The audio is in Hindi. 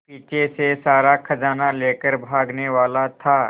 पीछे से सारा खजाना लेकर भागने वाला था